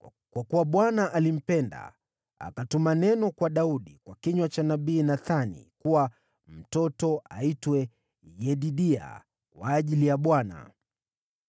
Kwa kuwa Bwana alimpenda, akatuma neno kwa Daudi kwa kinywa cha nabii Nathani kuwa mtoto aitwe Yedidia kwa ajili ya Bwana .